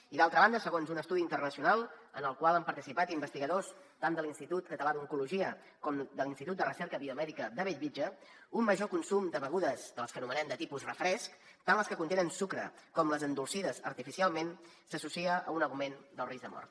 i d’altra banda segons un estudi internacional en el qual han participat investigadors tant de l’institut català d’oncologia com de l’institut de recerca biomèdica de bellvitge un major consum de begudes de les que anomenem de tipus refresc tant les que contenen sucre com les endolcides artificialment s’associa a un augment del risc de mort